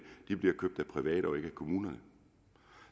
bliver købt af private og ikke af kommunerne